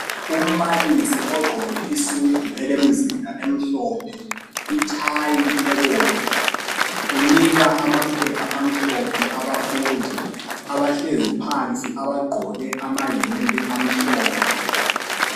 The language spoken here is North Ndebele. Umbali ogqoke isudu elemzila emhlophe ithayi ebomvu unika amaphepha amhlophe abafundi abahlezi phansi abagqoke amayembe amhlophe